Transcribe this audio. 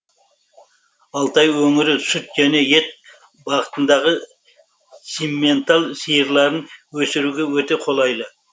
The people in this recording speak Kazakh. алтай өңірі сүт және ет бағытындағы симментал сиырларын өсіруге өте қолайлы